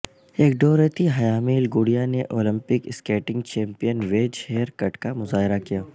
ایک Dorothy Hamill گڑیا نے Olympic skating champion wedge hair cut کا مظاہرہ کیا